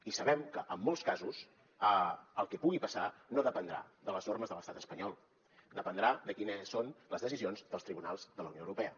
i sabem que en molts casos el que pugui passar no dependrà de les normes de l’estat espanyol dependrà de quines són les decisions dels tribunals de la unió europea